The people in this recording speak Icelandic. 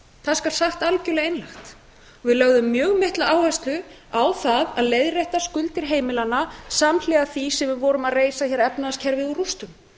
það skal sagt algjörlega einlægt við lögðum mjög mikla áherslu á það að leiðrétta skuldir heimilanna samhliða því sem við vorum að reisa hér efnahagskerfið úr rústum